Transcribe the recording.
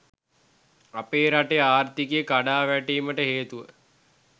අපේ රටේ ආර්ථිකය කඩා වැටීමට හේතුව